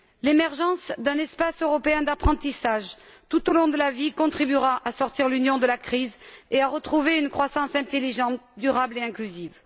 L'émergence d'un espace européen d'apprentissage tout au long de la vie contribuera à sortir l'Union de la crise et à retrouver une croissance intelligente durable et inclusive.